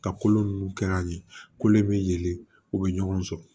Ka kolo ninnu kɛ ka ɲɛ kolo in bɛ yelen u bɛ ɲɔgɔn sɔrɔ